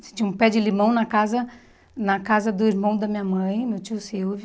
Tinha um pé de limão na casa na casa do irmão da minha mãe, meu tio Silvio.